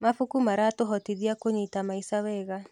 Mabuku maratũhotithia kũnyita maica wega.